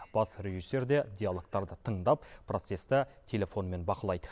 бас режиссер де диалогтарды тыңдап процесті телефонмен бақылайды